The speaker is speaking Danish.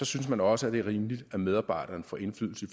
synes man også det er rimeligt at medarbejderne får indflydelse i